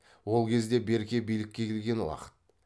ол кезде берке билікке келген уақыт